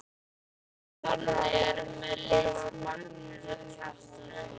Og þannig er með list Magnúsar Kjartanssonar.